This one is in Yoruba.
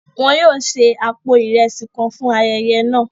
Wón yóò se apó iresi kàn fún ayẹyẹ náà